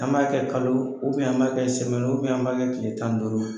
An b'a kɛ kalo an b'a kɛ an b'a kɛ tile tan ni duuru ye.